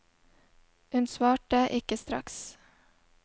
Hun svarte ikke straks.